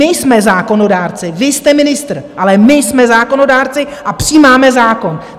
My jsme zákonodárci, vy jste ministr, ale my jsme zákonodárci a přijímáme zákon.